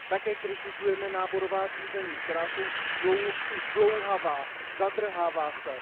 Také kritizujeme náborová řízení, která jsou zdlouhavá, zadrhávají se.